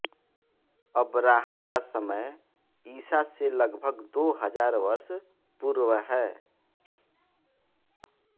अबराहम का समय ईसा से लगभग दो हजार वर्ष पूर्व है